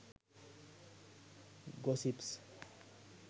gossips